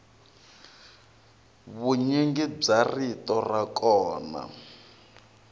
vunyingi bya rito ra kona